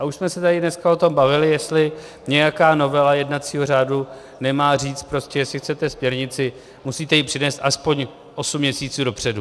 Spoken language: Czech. A už jsme se tady dneska o tom bavili, jestli nějaká novela jednacího řádu nemá říct prostě, jestli chcete směrnici, musíte ji přinést aspoň osm měsíců dopředu.